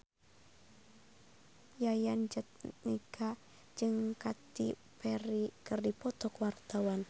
Yayan Jatnika jeung Katy Perry keur dipoto ku wartawan